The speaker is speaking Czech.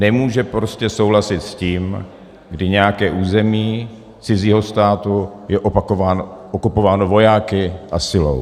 Nemůže prostě souhlasit s tím, kdy nějaké území cizího státu je okupováno vojáky a silou.